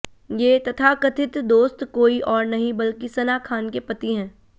ये तथाकथित दोस्त कोई और नहीं बल्कि सना खान के पति हैं